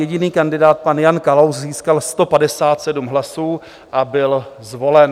Jediný kandidát, pan Jan Kalous, získal 157 hlasů a byl zvolen.